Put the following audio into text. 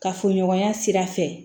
Kafoɲɔgɔnya sira fɛ